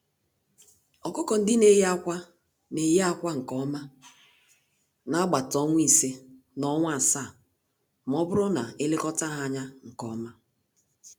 Ọkụkọ-ndị-neyi-ákwà n'eyi ákwà nkè ọma nagbata ọnwa ise, na ọnwa asaá, mọbụrụ na elekọta ha ányá nke ọma.